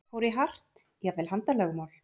Fór í hart, jafnvel handalögmál?